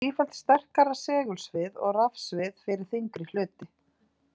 Því þarf sífellt sterkara segulsvið og rafsvið fyrir þyngri hluti.